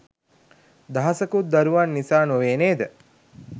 දහසකුත් දරුවන් නිසා නොවේ නේද?